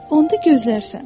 Onda gözlərsən.